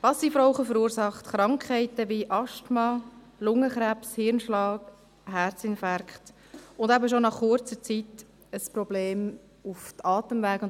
Passivrauchen verursacht Krankheiten wie Asthma, Lungenkrebs, Hirnschlag, Herzinfarkte und eben schon nach kurzer Zeit ein Problem bei den Atemwegen.